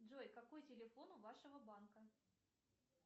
джой какой телефон у вашего банка